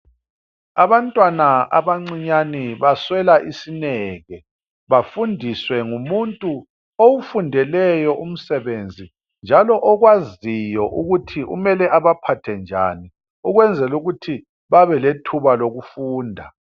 Abantwana abancinyane baswela isineke, bafundiswe ngumuntu owufundeleyo umsebenzi njalo okwaziyo ukuthi umele abaphathe njani. Ukwenzel' ukuthi babelethuba lokufunda.